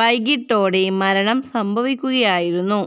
വൈകിട്ടോടെ മരണം സംഭവിക്കുകയായിരുന്നു